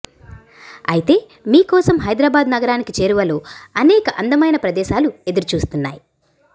అయితే మీ కోసం హైదరాబాద్ నగరానికి చేరువలో అనేక అందమైన ప్రదేశాలు ఎదురుచూస్తున్నాయి